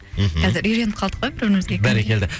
мхм қазір үйреніп қалдық қой бір бірімізге бәрекелді